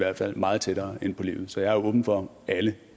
meget tættere inde på livet så jeg er åben for alle